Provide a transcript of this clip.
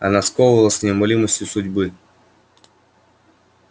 она сковывала с неумолимостью судьбы